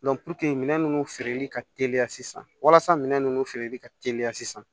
minɛn ninnu feereli ka teliya sisan walasa minɛn ninnu feereli ka teliya sisan